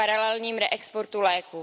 paralelním reexportu léků.